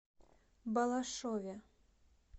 балашове